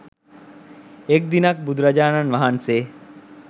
එක් දිනක් බුදුරජාණන් වහන්සේ